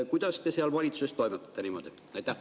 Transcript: Kuidas te seal valitsuses toimetate niimoodi?